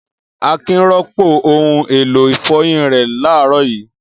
Akin rọ́pò ohun-èlò ìfọyín rẹ̀ láàárọ̀ yìí.